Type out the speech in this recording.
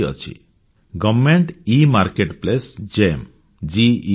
minimum government and maximum governance